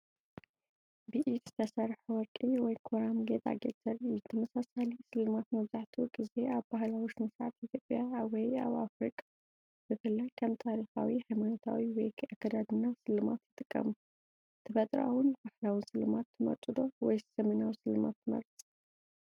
ብኢድ ዝተሰርሐ ወርቂ ወይ ኮራም ጌጣጌጥ ዘርኢ እዩ። ተመሳሳሊ ስልማት መብዛሕትኡ ግዜ ኣብ ባህላዊ ስነ-ስርዓት ኢትዮጵያ ወይ ኣፍሪቃ ብፍላይ ከም ታሪኻዊ ሃይማኖታዊ ወይ ኣከዳድና ስልማት ይጥቀሙ። ተፈጥሮኣውን ባህላውን ስልማት ትመርጹ ዶ? ወይስ ዘመናዊ ስልማት ትመርጽ?